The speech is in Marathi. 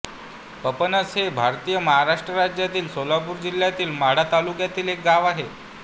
पपनस हे भारतातील महाराष्ट्र राज्यातील सोलापूर जिल्ह्यातील माढा तालुक्यातील एक गाव आहे